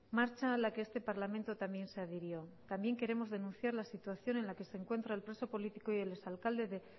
marcha a la que este parlamento también se adhirió también queremos denunciar la situación en la que se encuentra el preso político y el exalcalde de